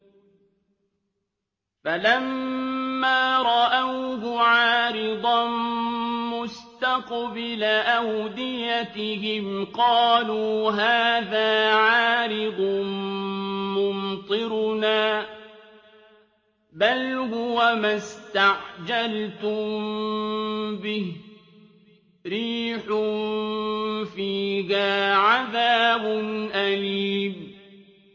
فَلَمَّا رَأَوْهُ عَارِضًا مُّسْتَقْبِلَ أَوْدِيَتِهِمْ قَالُوا هَٰذَا عَارِضٌ مُّمْطِرُنَا ۚ بَلْ هُوَ مَا اسْتَعْجَلْتُم بِهِ ۖ رِيحٌ فِيهَا عَذَابٌ أَلِيمٌ